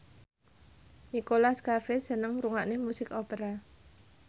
Nicholas Cafe seneng ngrungokne musik opera